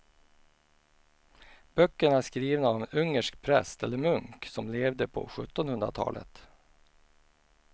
Böckerna är skrivna av en ungersk präst eller munk som levde på sjuttonhundratalet.